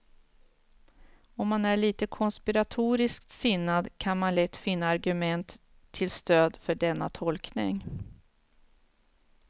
Om man är lite konspiratoriskt sinnad kan man lätt finna argument till stöd för denna tolkning.